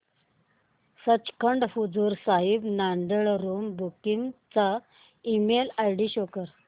Sachkhand Hazur Sahib Nanded room booking चा email ID show कर